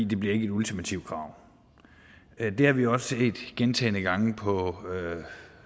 det bliver ikke et ultimativt krav det har vi også set gentagne gange på